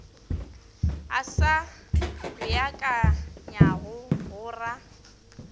a sa beakanywago go ra